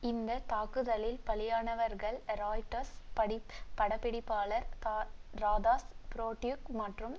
இந்த தாக்குதலில் பலியானவர்கள் ராய்ட்டர்ஸ் பட பிடிப்பாளர் ராதாஸ் புரோட்டியுக் மற்றும்